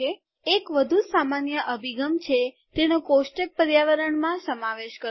એક વધુ સામાન્ય અભિગમ છે તેને કોષ્ટક પર્યાવરણમાં સમાવેશ કરવો